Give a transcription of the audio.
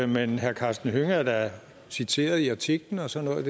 men herre karsten hønge er da citeret i artiklen og sådan